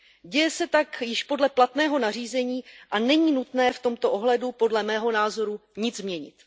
Děje se tak již podle platného nařízení a není nutné v tomto ohledu podle mého názoru nic měnit.